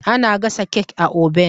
Ana gasa kek a oben.